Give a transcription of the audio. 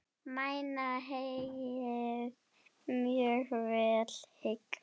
Mæna heyið mjög vel hygg.